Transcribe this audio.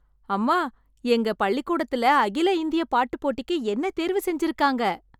அம்மா, எங்க பள்ளிக்கூடத்திலே அகில இந்திய பாட்டுப் போட்டிக்கு என்னை தேர்வு செஞ்சிருக்காங்க